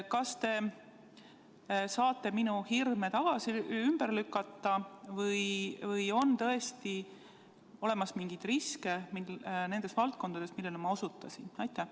Kas te saate minu hirme ümber lükata või on tõesti olemas mingeid riske nendes valdkondades, millele ma osutasin?